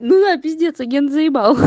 ну да пиздец агентзаебал